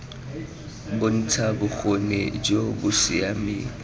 bontsha bokgoni jo bo siameng